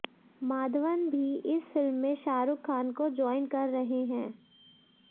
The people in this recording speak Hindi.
माधवन भी इस फिल्म में शाहरुख खान को ज्वाइन कर रहें हैं